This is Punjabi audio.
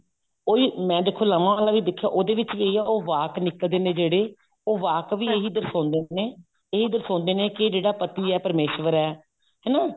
ਉਹੀ ਮੈਂ ਦੇਖੋ ਲਾਵਾਂ ਵਾਲਾ ਦੇਖਿਆ ਉਹਦੇ ਵਿੱਚ ਵੀ ਇਹੀ ਹੈ ਉਹ ਵਾਕ ਨਿਕਲਦੇ ਨੇ ਜਿਹੜੇ ਉਹ ਵਾਕ ਵੀ ਇਹੀ ਦਰਸਾਉਂਦੇ ਨੇ ਇਹੀ ਦਰਸਾਉਂਦੇ ਨੇ ਕੀ ਜਿਹੜਾ ਪਤੀ ਹੈ ਉਹ ਪ੍ਰਮੇਸ਼ਵਰ ਹੈ ਹਨਾ